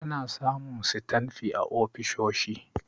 Ana samun sitanfi a ofisoshi.